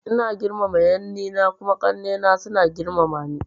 Ina girmama yanni na kuma ƙanai na suna girmama ni.